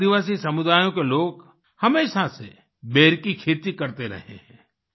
आदिवासी समुदायोँ के लोग हमेशा से बेर की खेती करते रहे हैं